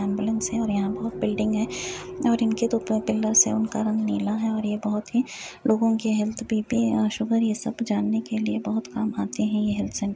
Ambulance है और यहाँ बहुत बिल्डिंग है। इनके दो पिल्लर्स है और उनका रंग नीला है और ये बहुत ही लोगो की हेल्थ बी_पी सुगर ये सब जानने के लिए बहुत काम आते है ये हेल्थ सेण्टर --